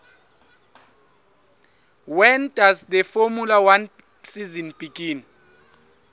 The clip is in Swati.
when does the formula one season begin